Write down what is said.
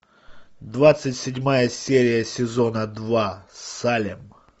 двадцать седьмая серия сезона два салем